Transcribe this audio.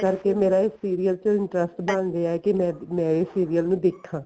ਇਸ ਕਰਕੇ ਮੇਰਾ ਇਸ serial ਚ interest ਬਣ ਗਿਆ ਏ ਕੇ ਮੈਂ ਇਸ serial ਨੂੰ ਦੇਖਾ